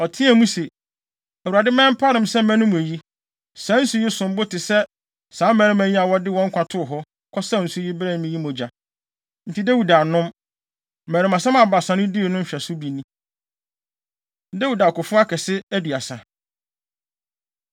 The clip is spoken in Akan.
Ɔteɛɛ mu se, “ Awurade ma ɛmpare me sɛ mɛnom eyi! Saa nsu yi som bo te sɛ saa mmarima yi a wɔde wɔn nkwa too hɔ, kɔsaw nsu yi brɛɛ me yi mogya.” Enti Dawid annom. Mmarimasɛm a Baasa no dii no nhwɛso bi ni. Dawid Akofo Akɛse Aduasa